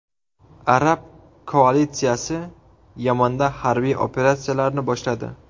Arab koalitsiyasi Yamanda harbiy operatsiyalarni boshladi.